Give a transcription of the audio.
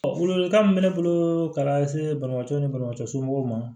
Welewelekan min bɛ ne bolo ka lase balimakɛ ni banabagatɔ somɔgɔw ma